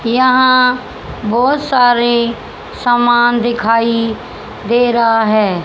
यहां बहुत सारे सामान दिखाई दे रहा है।